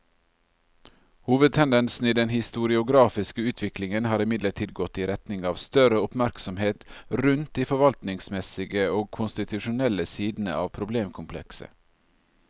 Hovedtendensen i den historiografiske utviklingen har imidlertid gått i retning av større oppmerksomhet rundt de forvaltningsmessige og konstitusjonelle sidene av problemkomplekset.